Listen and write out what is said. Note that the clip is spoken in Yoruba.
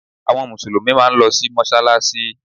Àwọn Mùsùlùmí máa ń lọ sí mọ́sálásí